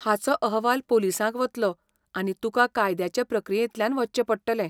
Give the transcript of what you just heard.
हाचो अहवाल पोलिसांक वतलो, आनी तुका कायद्याचे प्रक्रियेंतल्यान वचचें पडटलें.